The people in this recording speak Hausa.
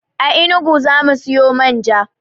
A enugu zamu siyo manja